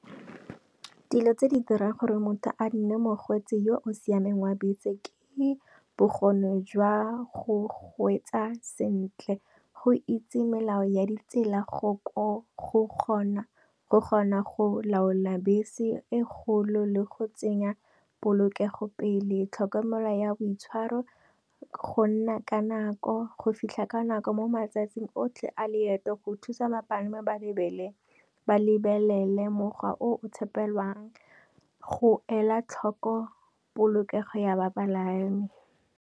Dilo tse di dirang gore motho a nne mokgweetsi yo o siameng wa bese, ke bokgoni jwa go kgweetsa sentle, go itse melao ya ditsela, go kgona go laola bese e kgolo, le go tsenya polokego pele, tlhokomelo ya boitshwaro, go nna ka nako, go fitlha ka nako mo matsatsing otlhe a leeto, go thusa bapalami ba lebelele mokgwa o tshepegalang, go ela tlhoko polokego ya bapalami.